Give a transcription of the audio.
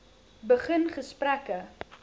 begin gesprekke